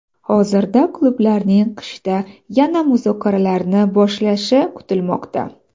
Hozirda klublarning qishda yana muzokaralarni boshlashi kutilmoqda.